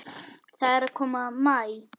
Það er að koma maí.